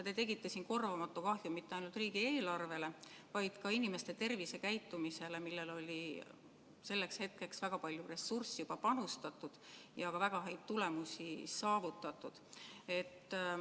Te tegite korvamatut kahju mitte ainult riigieelarvele, vaid ka inimeste tervisekäitumisele, kuhu oli selleks hetkeks väga palju ressurssi panustatud ja ka väga häid tulemusi saavutatud.